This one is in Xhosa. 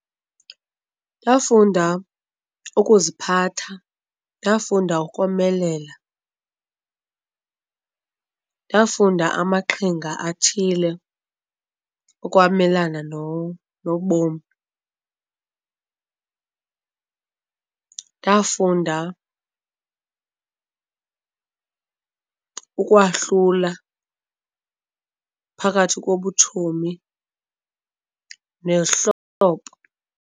Ndafunda ukuziphatha, ndafunda ukomelela, ndafunda amaqhinga athile okwamelana nobomi. Ndafunda ukwahlula phakathi kobutshomi nezihlobo.